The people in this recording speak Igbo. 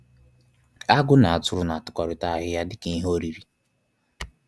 Agụ na atụrụ na-atakọrịta ahịhịa dịka ihe oriri.